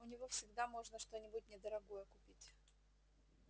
у него всегда можно что-нибудь недорогое купить